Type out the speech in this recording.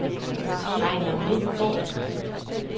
Regnar Midtgaard